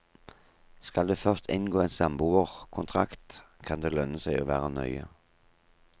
Skal du først inngå en samboerkontrakt, kan det lønne seg å være nøye.